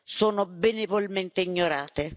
sono benevolmente ignorate.